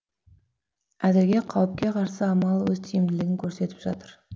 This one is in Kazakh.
әзірге қауіпке қарсы амал өз тиімділігін көрсетіп жатыр